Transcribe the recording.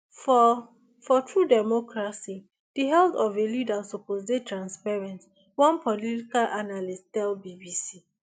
for for true democracy di health of a leader suppose dey transparent one political analyst tell bbc